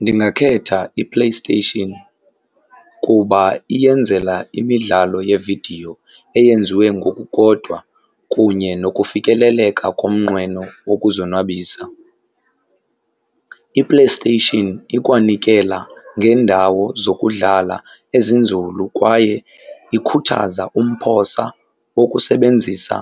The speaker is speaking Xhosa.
Ndingakhetha iPlayStation kuba iyenzela imidlalo yeevidiyo eyenziwe ngokukodwa kunye nokufikeleleka komnqweno wokuzonwabisa. IPlayStation ikwanikela ngeendawo zokudlala ezinzulu, kwaye ikhuthaza umphosa wokusebenzisa